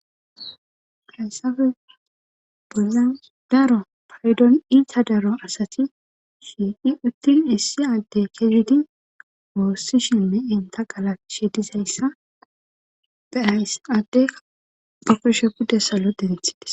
hassafe bola daro paydon iita daro asati shii7i uttin issi adde kezidi woossi shime7enta qala shedizayssa be ayss adde porshe pudde salo denethides